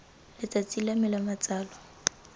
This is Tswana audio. letsatsi la me la matsalo